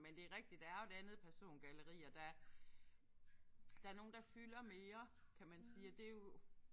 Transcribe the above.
Men det er rigtigt der er jo et andet persongalleri og der der er nogen der fylder mere kan man sige og det er jo